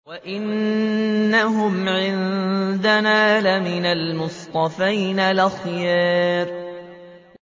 وَإِنَّهُمْ عِندَنَا لَمِنَ الْمُصْطَفَيْنَ الْأَخْيَارِ